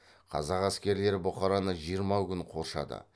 қазақ әскерлері бұхараны жиырма күн қоршады